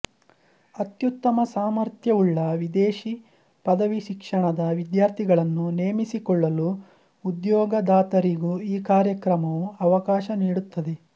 ಅತ್ಯುತ್ತಮ ಸಾಮರ್ಥ್ಯವುಳ್ಳ ವಿದೇಶೀ ಪದವಿಶಿಕ್ಷಣದ ವಿದ್ಯಾರ್ಥಿಗಳನ್ನು ನೇಮಿಸಿಕೊಳ್ಳಲು ಉದ್ಯೋಗದಾತರಿಗೂ ಈ ಕಾರ್ಯಕ್ರಮವು ಅವಕಾಶ ನೀಡುತ್ತದೆ